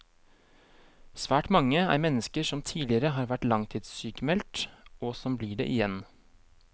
Svært mange er mennesker som tidligere har vært langtidssykmeldt, og som blir det igjen.